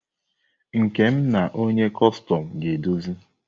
Nkem na onye kọstọm ga-edozi.